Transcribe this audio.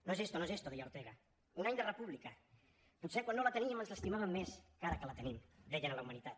no es esto no es esto deia ortega un any de república potser quan no la teníem ens l’estimàvem més que ara que la tenim deien a la humanitat